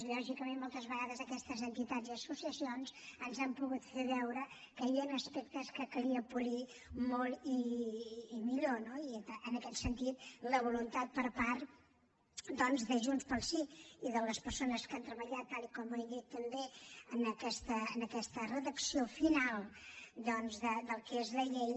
lògicament moltes vegades aquestes entitats i associacions ens han pogut fer veure que hi havia aspectes que calia polir molt i millor no i en aquest sentit la voluntat per part de junts pel sí i de les persones que han treballat tal com he dit també en aquesta redacció final doncs del que és la llei